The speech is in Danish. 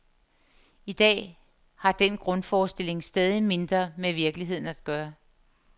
I dag har den grundforestilling stadigt mindre med virkeligheden at gøre.